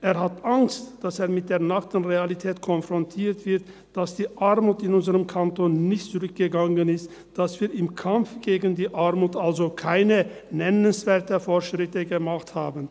Er hat Angst, dass er mit der nackten Realität konfrontiert wird, dass die Armut in unserem Kanton nicht zurückgegangen ist, dass wir also im Kampf gegen die Armut keine nennenswerten Fortschritte gemacht haben.